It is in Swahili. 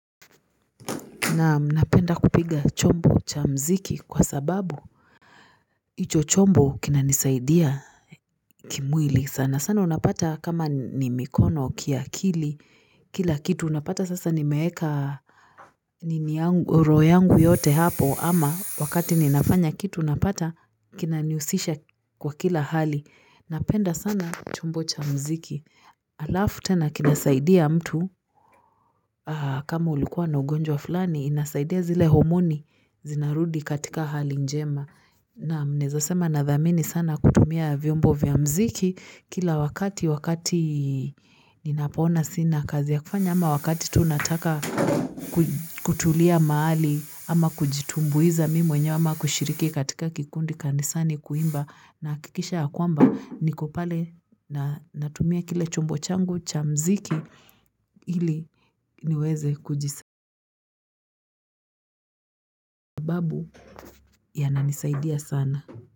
Naam napenda kupiga chombo cha mziki kwa sababu hicho chombo kinanisaidia kimwili sana. Sana unapata kama ni mikono kiakili, kila kitu unapata sasa nimeweka roho yangu yote hapo ama wakati ninafanya kitu unapata kinanihusisha kwa kila hali. Napenda sana chombo cha mziki. Alafu tena kinasaidia mtu, kama ulikuwa na ugonjwa fulani, inasaidia zile homoni zinarudi katika hali njema. Naam n eza sema nadhamini sana kutumia vyombo vya mziki kila wakati, wakati ninapoona sina kazi ya kufanya. Ama wakati tu nataka kutulia mahali ama kujitumbuiza mimi mwenyewe ama kushiriki katika kikundi kanisani kuimba nahakikisha ya kwamba niko pale na natumia kile chombo changu cha mziki ili niweze kujisa babu yananisaidia sana.